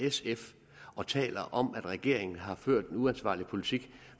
sf og taler om at regeringen har ført en uansvarlig politik